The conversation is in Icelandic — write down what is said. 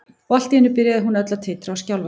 Og allt í einu byrjaði hún öll að titra og skjálfa.